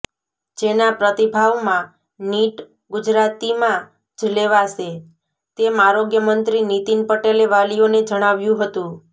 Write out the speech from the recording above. જેના પ્રતિભાવમાં નીટ ગુજરાતીમાં જ લેવાશે તેમ આરોગ્ય મંત્રી નીતિન પટેલે વાલીઓને જણાવ્યું હતું